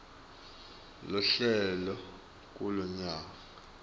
lohlele kulo kanye